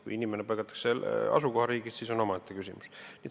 Kui inimene palgatakse asukohariigist, siis see on omaette küsimus.